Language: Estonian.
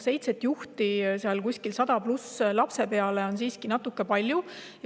Seitse juhti kuskil 100+ lapse peale on siiski natukene palju.